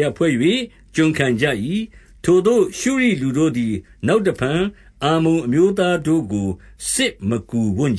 ယဖွဲ့၍ ကျွန်ခံ ကြ၏။ ထိုသို့ ရှုရိလူတို့သည် နောက်တဖန် အမ္မုန်အမျိုးသားတို့ကို စစ်မကူဝံ့က